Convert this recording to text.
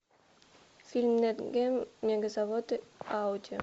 фильм нат гео мегазаводы ауди